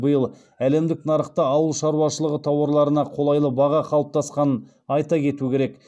биыл әлемдік нарықта ауыл шаруашылығы тауарларына қолайлы баға қалыптасқанын айта кету керек